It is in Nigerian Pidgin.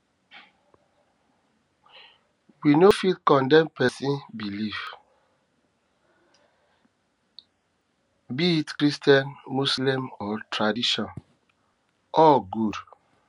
we no um fit condemn pesin belief be pesin belief be it christian muslem um or tradition all um good